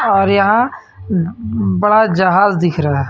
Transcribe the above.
और यहां बड़ा जहाज दिख रहा है.